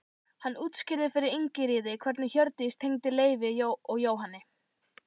Hann útskýrði fyrir Ingiríði hvernig Hjördís tengdist Leifi og Jóhanni.